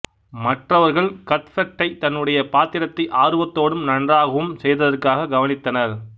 மற்றவர்கள் கத்பெர்ட்டை தன்னுடைய பாத்திரத்தை ஆர்வத்தோடும் நன்றாகவும் செய்ததற்காக கவனித்தனர்